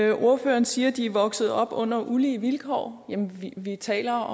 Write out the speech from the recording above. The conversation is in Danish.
ordføreren siger at de er vokset op under ulige vilkår jamen vi taler